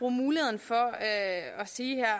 muligheden for at sige